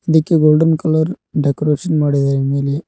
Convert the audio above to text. ಇದಕ್ಕೆ golden colour decoration ಮಾಡಿದಾರೆ ಮೇಲೆ--